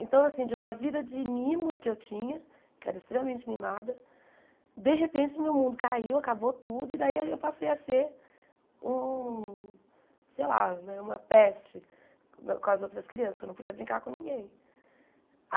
Então, assim, de uma vida de mimos que eu tinha, que era extremamente mimada, de repente meu mundo caiu, acabou tudo, e daí eu passei a ser um, sei lá, uma peste com as outras crianças, porque eu não podia brincar com ninguém.